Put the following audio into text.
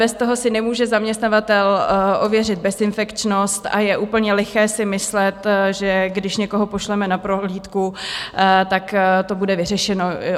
Bez toho si nemůže zaměstnavatel ověřit bezinfekčnost a je úplně liché si myslet, že když někoho pošleme na prohlídku, tak to bude vyřešeno.